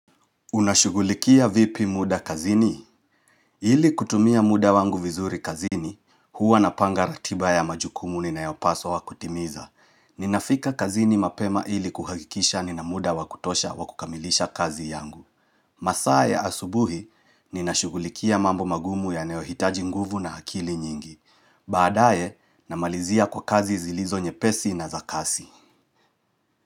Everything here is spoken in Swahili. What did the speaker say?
Unashugulikia vipi muda kazini? Ili kutumia muda wangu vizuri kazini, huwa napanga ratiba ya majukumu ninayopaswa kutimiza. Ninafika kazini mapema ili kuhakikisha nina muda wakutosha wakukamilisha kazi yangu. Masaa ya asubuhi, ninashugulikia mambo magumu yanayohitaji nguvu na akili nyingi. Baadae, namalizia kwa kazi zilizo nyepesi na za kasi.